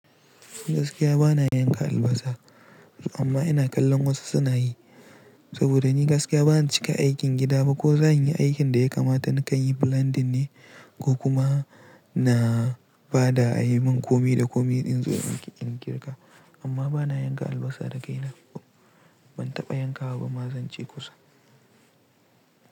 Ni gaskiya ba na yanka albasa, amma ina kallon wasu suna yi. Saboda ni gaskiya ba na cika aikin gida ba ko zanyi aikin da ya kamata na kan yi blending ne ko kuma na bada a yi min komi da komi in zo in girka. Amma ba na yanka albasa da kaina. Ban taɓa yankawa ba ma zan ce kusa.